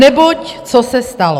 Neboť co se stalo?